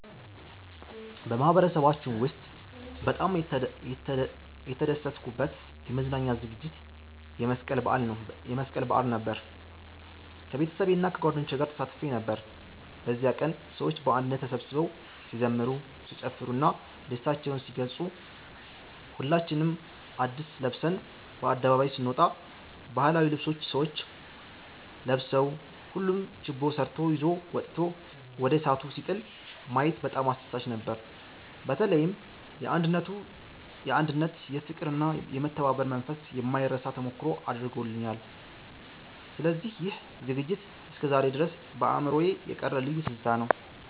በማህበረሰባችን ውስጥ በጣም የተደሰትኩበት የመዝናኛ ዝግጅት የመስቀል በዓል ነበር። ከቤተሰቤና ከጓደኞቼ ጋር ተሳትፌ ነበር። በዚያ ቀን ሰዎች በአንድነት ተሰብስበው ሲዘምሩ፣ ሲጨፍሩ እና ደስታቸውን ሲገልጹ፣ ሁላችንም አድስ ለብሰን በአደባባዩ ስነወጣ፣ ባህላዊ ልብሶች ሰዎች ለብሰው፣ ሁሉም ችቦ ሰርቶ ይዞ መጥቶ ወደ እሳቱ ሲጥል ማየት በጣም አስደሳች ነበር። በተለይም የአንድነት፣ የፍቅር እና የመተባበር መንፈስ የማይረሳ ተሞክሮ አድርጎልኛል። ስለዚህ ይህ ዝግጅት እስከዛሬ ድረስ በአእምሮዬ የቀረ ልዩ ትዝታ ነው።"